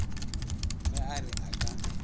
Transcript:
ge a re a ka